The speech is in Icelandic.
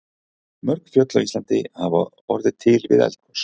Mörg fjöll á Íslandi hafa orðið til við eldgos.